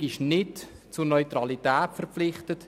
Die Regierung ist nicht zur Neutralität verpflichtet.